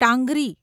ટાંગરી